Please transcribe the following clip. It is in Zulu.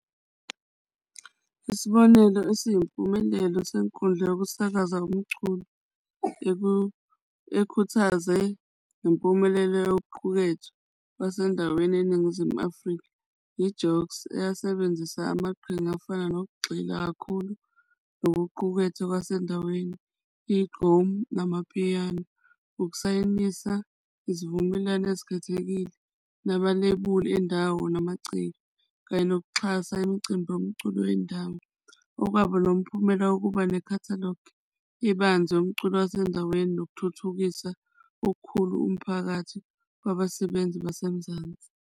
Isibonelo esiyimpumelelo senkundla yokusakaza komculo ekukhuthaze ngempumelelo yokuqukethwe wasendaweni eNingizimu Afrika, yi-Jocks eyasebenzisa amaqhinga afana nokugxila kakhulu nokuqukethwe kwasendaweni, igqomu namapiyano ukusayinisa isivumelwano ezikhethekile nabalebuli endawo namaciko kanye nokuxhasa imicimbi yomculo wendawo. Okwaba nomphumela wokuba ne-catalogue ebanzi yomculo wasendaweni nokuthuthukisa okukhulu umphakathi kwabasebenzi basemzansi.